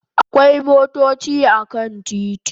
Akwai motochi a kan titi